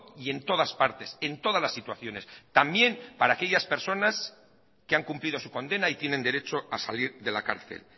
y en todas partes en todas las situaciones también para aquellas personas que han cumplido su condena y tienen derecho a salir de la cárcel